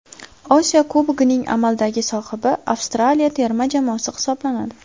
Osiyo Kubogining amaldagi sohibi Avstraliya terma jamoasi hisoblanadi.